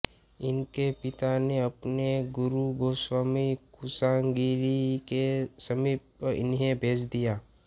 इनके पिता ने अपने गुरु गोस्वामी कुशागिरि के समीप इन्हें भेज दिया